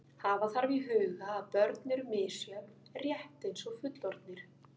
Hafa þarf í huga að börn eru misjöfn rétt eins og fullorðnir.